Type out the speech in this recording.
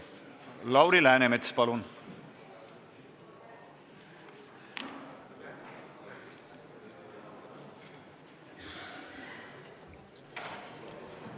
Lauri Läänemets, palun!